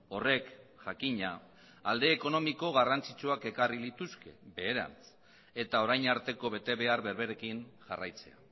horrek jakina alde ekonomiko garrantzitsuak ekarri lituzke beherantz eta orain arteko betebehar berberekin jarraitzea